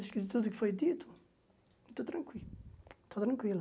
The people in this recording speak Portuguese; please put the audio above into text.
Acho que de tudo o que foi dito, estou tranquilo.